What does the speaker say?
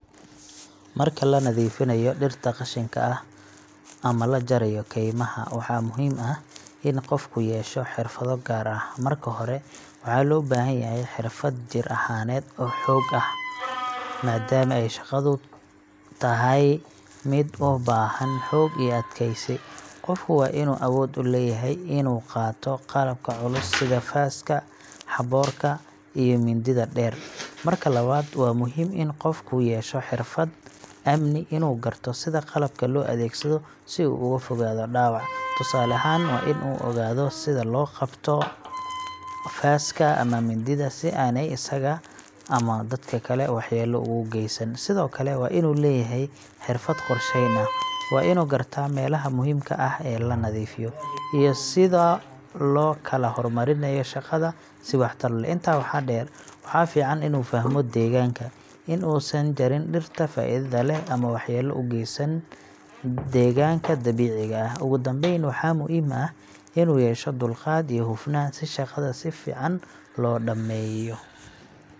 Marka la nadiifinayo dhirta qashinka ah ama la jarayo kaymaha, waxaa muhiim ah in qofku yeesho xirfado gaar ah. Marka hore, waxaa loo baahan yahay xirfad jir ahaaneed oo xoog leh, maadaama ay shaqadu tahay mid u baahan xoog iyo adkaysi. Qofku waa inuu awood u leeyahay inuu qaato qalabka culus sida faaska, xaboorka, iyo mindida dheer. Marka labaad, waa muhiim in qofku yeesho xirfad amni inuu garto sida qalabka loo adeegsado si uu uga fogaado dhaawac. Tusaale ahaan, waa in uu ogaadaa sida loo qabto faaska ama mindida si aaney isaga ama dadka kale waxyeello ugu geysan. Sidoo kale, waa inuu leeyahay xirfad qorsheyn ah. Waa inuu gartaa meelaha muhiimka ah ee la nadiifinayo, iyo sida loo kala hormarinayo shaqada si waxtar leh. Intaa waxaa dheer, waxaa fiican inuu fahmo deegaanka in uusan jarin dhirta faa’iidada leh ama waxyeello u geysan deegaanka dabiiciga ah. Ugu dambeyn, waxaa muhiim ah inuu yeesho dulqaad iyo hufnaan si shaqada si fiican loo dhammeeyo.